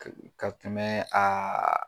Ka, ka tɛmɛ aa